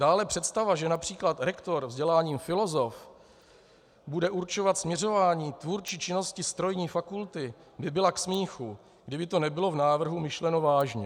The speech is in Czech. Dále představa, že například rektor vzděláním filozof bude určovat směřování tvůrčí činnost strojní fakulty, by byla k smíchu, kdyby to nebylo v návrhu myšleno vážně.